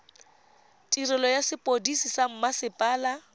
tirelo ya sepodisi sa mmasepala